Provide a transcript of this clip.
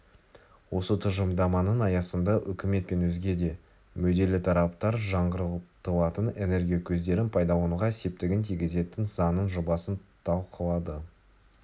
осы тұжырымдаманың аясында үкімет пен өзге де мүдделі-тараптар жаңғыртылатын энергия көздерін пайдалануға септігін тигізетін заңның жобасын талқылады